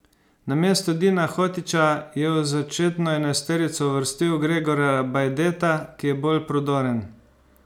Namesto Dina Hotića je v začetno enajsterico uvrstil Gregorja Bajdeta, ki je bolj prodoren.